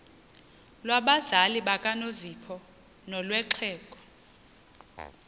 lwabazali bakanozpho nolwexhego